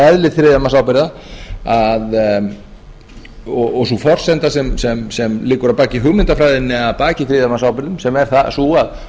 eðli þriðjamannsábyrgða og sú forsenda sem liggur að baki hugmyndafræðinni að baki þriðjamannsábyrgðum sem er sú að